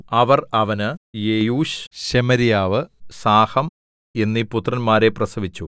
അവർ അവന് യെയൂശ് ശെമര്യാവു സാഹം എന്നീ പുത്രന്മാരെ പ്രസവിച്ചു